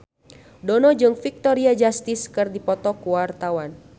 Dono jeung Victoria Justice keur dipoto ku wartawan